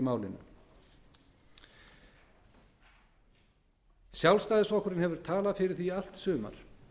í málinu sjálfstæðisflokkurinn hefur talað fyrir því í allt sumar